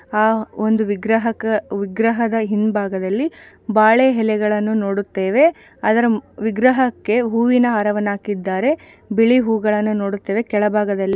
ಆ ಒಂದು ವಿಗ್ರಹಕ್ ವಿಗ್ರಹದ ಹಿಂಭಾಗದಲ್ಲಿ ಬಾಳೆ ಎಲೆಗಳನ್ನು ನೋಡುತ್ತೇವೆ ಅದರ ವಿಗ್ರಹಕ್ಕೆ ಹೂವಿನ ಹಾರವನ್ನು ಹಾಕಿದ್ದಾರೆ ಬಿಳಿ ಹೂಗಳನ್ನು ನೋಡುತ್ತೇವೆ ಕೆಳಭಾಗದಲ್ಲಿ --